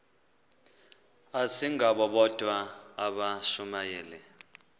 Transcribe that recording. asingabo bodwa abashumayeli